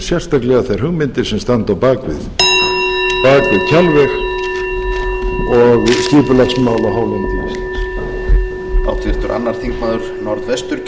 sérstaklega þær hugmyndir sem standa á bak við kjalveg og skipulagsmál á hálendi íslands